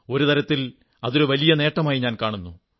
ഒരു തരത്തിൽ അതൊരു വലിയ നേട്ടമായി ഞാൻ കാണുന്നു